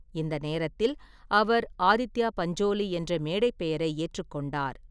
இந்த நேரத்தில், அவர் ஆதித்யா பஞ்சோலி என்ற மேடைப் பெயரை ஏற்றுக்கொண்டார்.